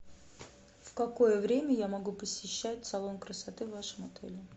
в какое время я могу посещать салон красоты в вашем отеле